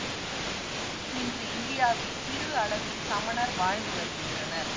இன்று இந்தியாவில் சிறு அளவில் சமணர் வாழ்ந்து வருகின்றனர்